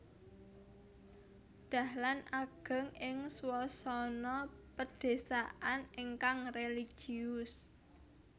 Dahlan ageng ing swasana padesaan ingkang religius